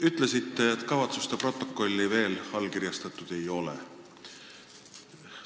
Ütlesite, et kavatsuste protokolli veel allkirjastatud ei ole.